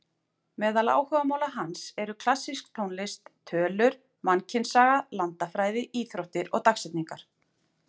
Meðal áhugamála hans eru klassísk tónlist, tölur, mannkynssaga, landafræði, íþróttir og dagsetningar.